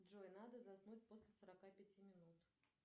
джой надо заснуть после сорока пяти минут